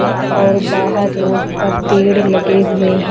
और बाहर रोड पर पेड़ लगे हुए हैं।